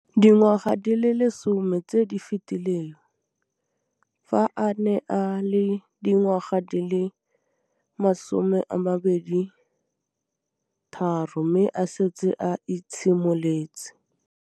Dingwaga di le 10 tse di fetileng, fa a ne a le dingwaga di le 23 mme a setse a itshimoletse.